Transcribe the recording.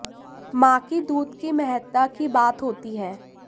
मां की दूध की महत्ता की बात होती है